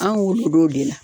An wolo do o de la.